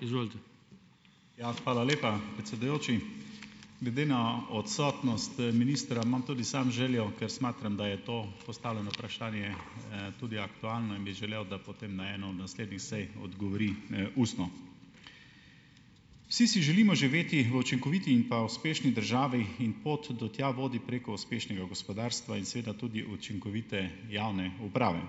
Ja. Hvala lepa, predsedujoči. Glede na odsotnost ministra imam tudi sam željo, ker smatram, da je to postavljeno vprašanje, tudi aktualno in bi želel, da potem na eno od naslednjih sej odgovori ustno. Vsi si želimo živeti v učinkoviti in pa uspešni državi. In pot do tja vodi preko uspešnega gospodarstva in seveda tudi učinkovite javne uprave.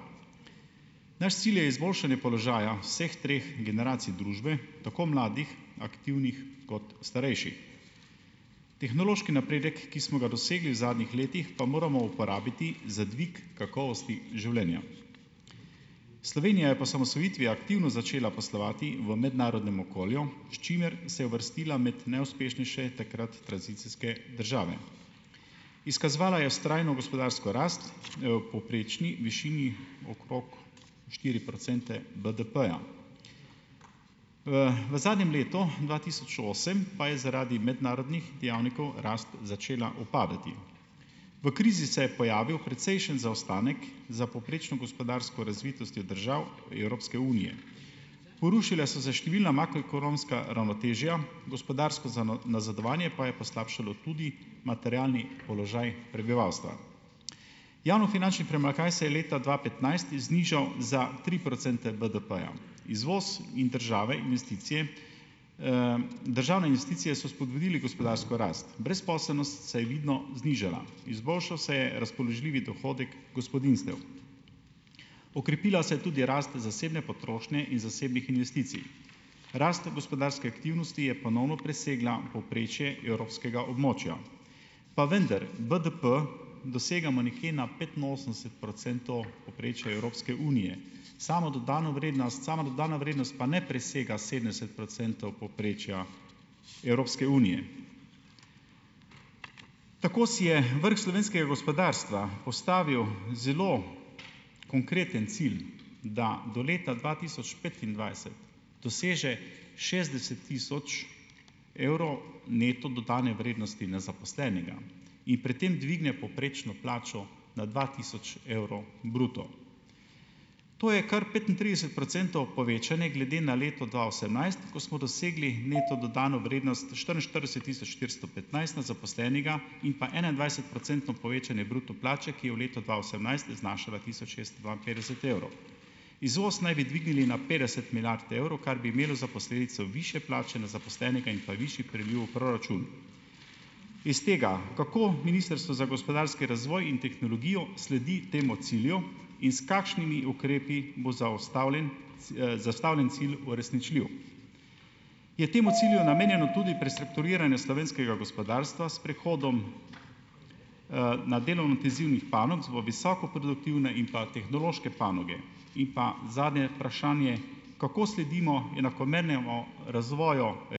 Naš cilj je izboljšanje položaja vseh treh generacij družbe, tako mladih aktivnih kot starejših. Tehnološki napredek, ki smo ga dosegli v zadnjih letih, pa moramo uporabiti za dvig kakovosti življenja. Slovenija je po osamosvojitvi aktivno začela poslovati v mednarodnem okolju, s čimer se je uvrstila med najuspešnejše, takrat tranzicijske, države. Izkazovala je vztrajno gospodarsko rast v povprečni višini okrog štiri procente BDP-ja, V zadnjem letu dva tisoč osem pa je zaradi mednarodnih dejavnikov rast začela upadati. V krizi se je pojavil precejšen zaostanek za povprečno gospodarsko razvitostjo držav Evropske unije. Porušila so se številna koronska ravnotežja, gospodarsko nazadovanje pa je poslabšalo tudi materialni položaj prebivalstva. Javnofinančni primanjkljaj se je leta dva petnajst znižal za tri procente BDP-ja. Izvoz in države investicije, državne investicije so vzpodbudili gospodarsko rast. Brezposelnost se je vidno znižala. Izboljšal se je razpoložljivi dohodek gospodinjstev. Okrepila se je tudi rast zasebne potrošnje in zasebnih investicij. Rast gospodarske aktivnosti je ponovno presegla povprečje evropskega območja. Pa vendar BDP dosegamo nekje na petinosemdeset procentov povprečja Evropske unije. Samo dodano vrednost, sama dodana vrednost pa ne presega sedemdeset procentov povprečja Evropske unije. Tako si je vrh slovenskega gospodarstva postavil zelo konkreten cilj, da do leta dva tisoč petindvajset doseže šestdeset tisoč evrov neto dodane vrednosti na zaposlenega in pri tem dvigne povprečno plačo na dva tisoč evrov bruto. To je kar petintrideset procentov povečanje glede na leto dva osemnajst, ko smo dosegli neto dodano vrednost štiriinštirideset tisoč štiristo petnajst na zaposlenega in pa enaindvajsetprocentno povečanje bruto plače, ki je v letu dva osemnajst znašala tisoč šeststo dvainpetdeset evrov. Izvoz naj bi dvignili na petdeset milijard evrov, kar bi imelo za posledico višje plače na zaposlenega in pa višji priliv v proračun. Iz tega, kako Ministrstvo za gospodarski razvoj in tehnologijo sledi temu cilju in s kakšnimi ukrepi bo zastavljen zastavljeni cilj uresničljiv? Je temu cilju namenjeno tudi prestrukturiranje slovenskega gospodarstva s prehodom, na delo intenzivnih panog na visoko produktivne in pa tehnološke panoge. In pa zadnje vprašanje: kako sledimo enakomernemu razvoju ...